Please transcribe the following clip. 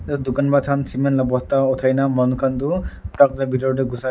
dukan la cement la bosta uthaina manu khan tuh truck la bethor dae ghusa--